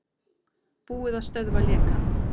Búið að stöðva lekann